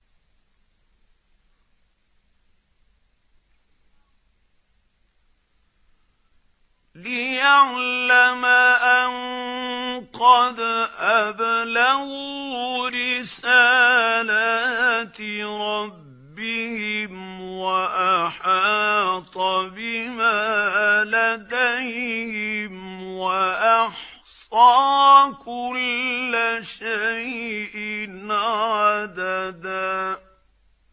لِّيَعْلَمَ أَن قَدْ أَبْلَغُوا رِسَالَاتِ رَبِّهِمْ وَأَحَاطَ بِمَا لَدَيْهِمْ وَأَحْصَىٰ كُلَّ شَيْءٍ عَدَدًا